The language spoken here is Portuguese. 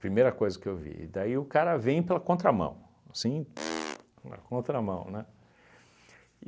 Primeira coisa que eu vi, e daí o cara vem pela contramão, assim, pu na contramão.